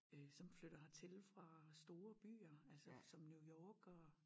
Øh som flytter hertil fra store byer altså som New York og